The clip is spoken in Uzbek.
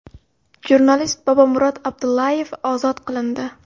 Jurnalist Bobomurod Abdullayev ozod qilindi .